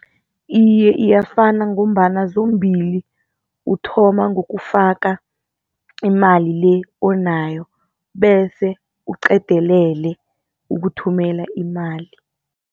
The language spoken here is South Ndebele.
Iye, iyafana ngombana zombili uthoma ngokufaka imali le onayo bese uqedelele ukuthumela imali.